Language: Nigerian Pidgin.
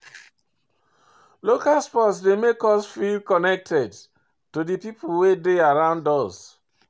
Local sport dey make us feel connected to di pipo wey de around us